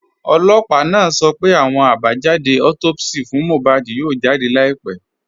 Ọlọ́pà naa sọ̀ pẹ̀ àwọn àbájàdé autopsi fún Mohbad yóò jáde láìpẹ̀.